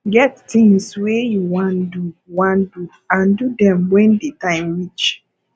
get things wey you wan do wan do and do dem when di time reach